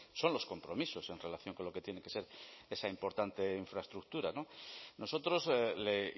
son los compromisos en relación con lo que tiene que ser esta importante infraestructura nosotros le